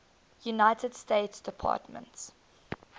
united states department